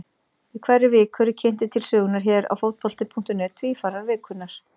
Í hverri viku eru kynntir til sögunnar hér á Fótbolti.net Tvífarar vikunnar.